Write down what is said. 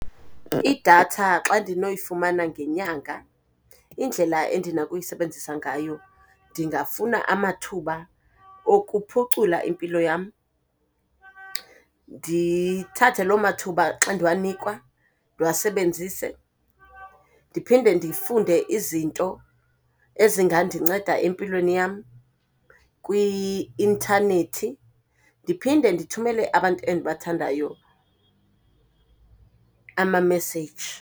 Idatha xa ndinoyifumana ngenyanga indlela endinakuyisebenzisa ngayo, ndingafuna amathuba okuphucula impilo yam, ndithathe loo mathuba xa ndiwanikwa ndiwasebenzise. Ndiphinde ndifunde izinto ezingandinceda empilweni yam kwi-intanethi. Ndiphinde ndithumele abantu endibathandayo ama-message.